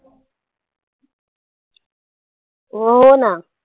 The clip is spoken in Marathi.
हो ना